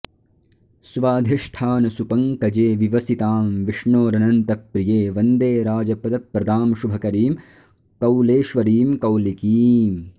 स्वाधिष्ठानसुपङ्कजे विवसितां विष्णोरनन्तप्रिये वन्दे राजपदप्रदां शुभकरीं कौलेश्वरीं कौलिकीम्